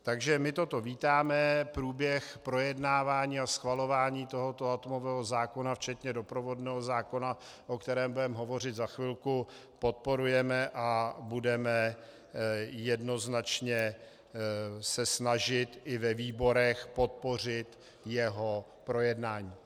Takže my toto vítáme, průběh projednávání a schvalování tohoto atomového zákona, včetně doprovodného zákona, o kterém budeme hovořit za chvilku, podporujeme a budeme jednoznačně se snažit i ve výborech podpořit jeho projednání.